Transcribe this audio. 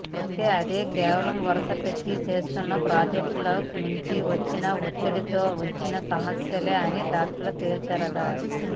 అయితే అది కేవలం వరస పెట్టి చేస్తున్న ప్రాజెక్టుల నుంచి వచ్చిన ఒత్తిడితో వచ్చిన సమస్యే అని డాక్టర్లు తేల్చారట